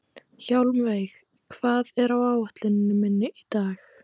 Hjálmveig, hvað er á áætluninni minni í dag?